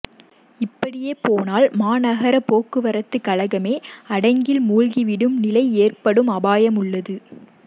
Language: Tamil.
இப்படியே போனால் மாநகர போக்குவரத்து கழகமே அடகில் மூழ்கிவிடும் நிலை ஏற்படும் அபாயம் உள்ளது